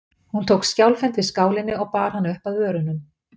Hún tók skjálfhent við skálinni og bar hana upp að vörunum.